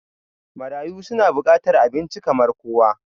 Marayu su na bukatar abinci kamar kowa